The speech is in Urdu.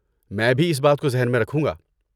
میں بھی اس بات کو ذہن میں رکھوں گا۔